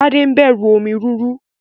Tade n bẹrù omi rúru.